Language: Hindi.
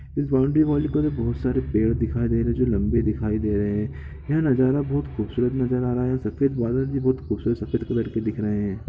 इस बॉउंड्री वॉल पे बहुत सारे पेड़ दिखाई दे रहे जो लंबे दिखाई दे रहे हैं यह नजारा बहुत खूबसूरत नजर आ रहा है सफेद बादल बहुत खूबसूरत सफ़ेद कलर के दिख रहे हैं।